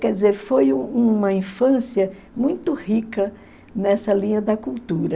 Quer dizer, foi um uma infância muito rica nessa linha da cultura.